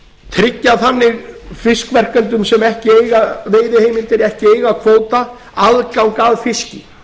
tryggja þannig fiskverkendum sem ekki eiga veiðiheimildir ekki eiga kvóta aðgang að fiski